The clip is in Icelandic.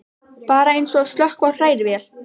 Bara eins og að slökkva á hrærivél.